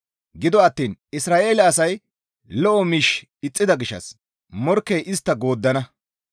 Gido attiin Isra7eele asay lo7o miish ixxida gishshas morkkey istta gooddana.